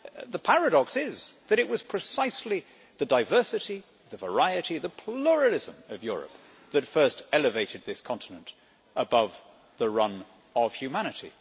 The paradox is that it was precisely the diversity, the variety of the pluralism of Europe that first elevated this continent above the run of humanity.